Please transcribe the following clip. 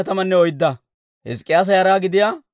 Anatoota katamaa Asay 128.